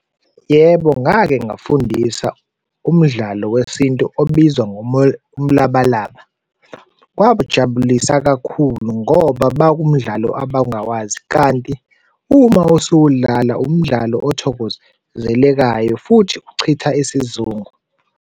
Yebo, ngake ngafundisa umdlalo wesintu obizwa umlabalaba. Kwabajabulisa kakhulu ngoba bakumdlalo abangawazi kanti uma usuwudlala, umdlalo othokozelekayo futhi uchitha isizungu.